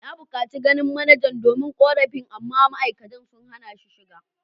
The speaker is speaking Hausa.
Na bukaci ganin manajan domin korafi amma ma’aikatan sun hana ni shiga.